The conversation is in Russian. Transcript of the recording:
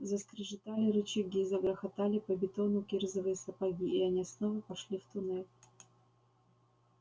заскрежетали рычаги загрохотали по бетону кирзовые сапоги и они снова вошли в туннель